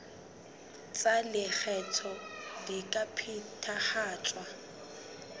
tsa lekgetho di ka phethahatswa